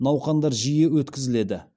науқандар жиі өткізіледі